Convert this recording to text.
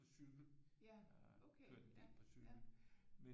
På cykel jeg har kørt en del på cykel men